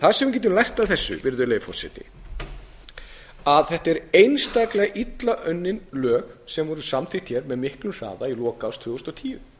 það sem við getum lært af þessu að þetta er einstaklega illa unnin lög sem voru samþykkt eð miklum hraða í lok árs tvö þúsund og tíu